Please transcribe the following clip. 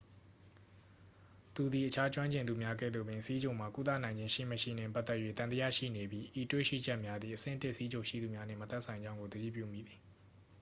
သူသည် အခြားကျွမ်းကျင်သူများ ကဲ့သို့ပင် ဆီးချိုမှာ ကုသနိုင်ခြင်း ရှိမရှိနှင့် ပတ်သက်၍ သံသယရှိနေပြီး ဤတွေ့ရှိချက်များသည် အဆင့် 1 ဆီးချိုရှိသူများနှင့် မသက်ဆိုင်ကြောင်းကို သတိပြုမိသည်